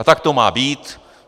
A tak to má být.